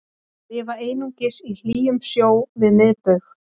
þær lifa einungis í hlýjum sjó við miðbaug